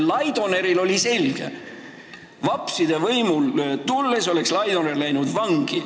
Laidonerile oli selge, et vapside võimule tulles oleks ta läinud vangi.